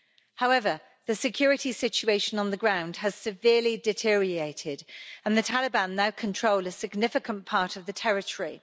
However, the security situation on the ground has severely deteriorated and the Taliban now control a significant part of the territory.